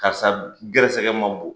Karisa gɛrɛsɛgɛ ma bon.